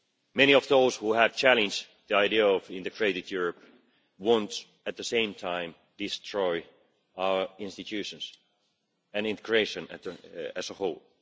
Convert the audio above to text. Many of those who have challenged the idea of an integrated Europe want, at the same time, to destroy our institutions and integration as a whole.